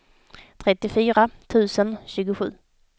trettiofyra tusen tjugosju